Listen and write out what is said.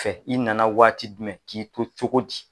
Fɛ i nana waati jumɛn k'i to cogo di?